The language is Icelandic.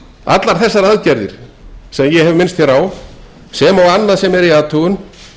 allar þessar aðgerðir sem og annað sem er í athugun